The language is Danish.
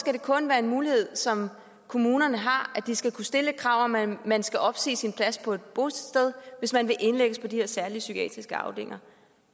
skal det kun være en mulighed som kommunerne har at de skal kunne stille et krav om at man skal opsige sin plads på et bosted hvis man vil indlægges på de her særlige psykiatriske afdelinger